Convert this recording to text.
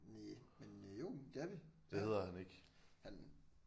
Næh men øh jo det er vi ja han